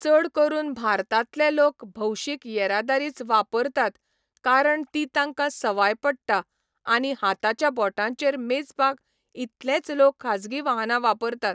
चड करून भारतांतले लोक भौशीक येरादारीच वापरतात कारण ती तांकां सवाय पडटा आनी हातांच्या बोटांचेर मेजपाक इतलेच लोक खाजगी वाहनां वापरतात